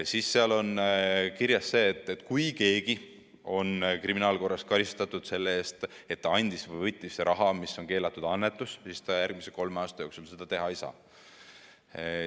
on kirjas ka see, et kui kedagi on kriminaalkorras karistatud selle eest, et andis või võttis raha keelatud annetusena, siis ta järgmise kolme aasta jooksul seda teha ei saa.